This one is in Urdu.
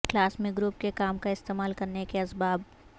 کلاس میں گروپ کے کام کا استعمال کرنے کے اسباب